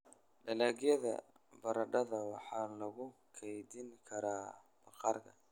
Dalagyada baradhada waxaa lagu keydin karaa bakhaarka.